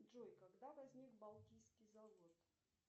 джой когда возник балтийский завод